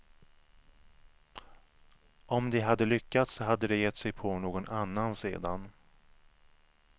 Om de hade lyckats hade de gett sig på någon annan sedan.